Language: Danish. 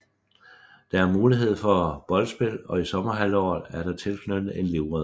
Der er mulighed for boldspil og i sommerhalvåret er der tilknyttet en livredder